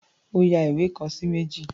Ó ya ìwé kan sí méjì.